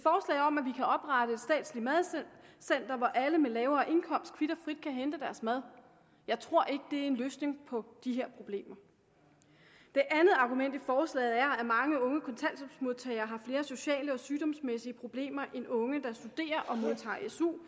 statsligt madcenter hvor alle med lavere indkomst kvit og frit kan hente deres mad jeg tror ikke det er en løsning på de her problemer det andet argument i forslaget er at mange unge kontanthjælpsmodtagere har flere sociale og sygdomsmæssige problemer end unge der studerer og modtager su